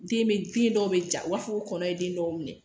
Den be, den dɔw be ja . U b'a fɔ ko kɔnɔ ye den dɔw minɛ.